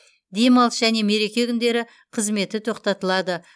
демалыс және мереке күндері қызметі тоқтатылады